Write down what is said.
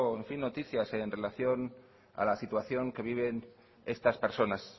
noticias en relación a la situación que viven estas personas